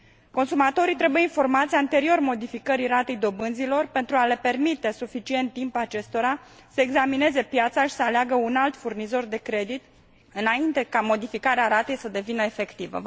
Consumatorii trebuie informați anterior modificării ratei dobânzilor pentru a le acorda suficient timp acestora să examineze piața și să aleagă un alt furnizor de credit, înainte ca modificarea ratei să devină efectivă.